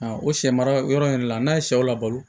o sɛ mara yɔrɔ in yɛrɛ la n'a ye sɛw labalo